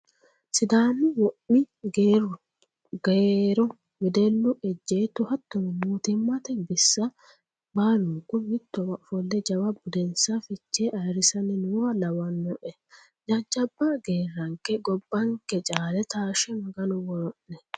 Sidaamu womi geerru garo wedellu Ejeetto hattono mootimmate bisa baalunku mittowa ofolle jawa budensa fichee ayirrisanni nooha lawanoe Jajjabba geerranke gobbanke caale taashshe Maganu woro'ne.